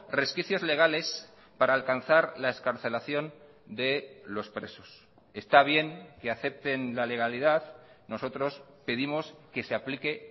resquicios legales para alcanzar la excarcelación de los presos está bien que acepten la legalidad nosotros pedimos que se aplique